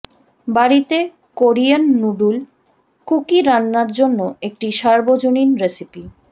বাড়িতে Korean noodle cookie রান্নার জন্য একটি সার্বজনীন রেসিপি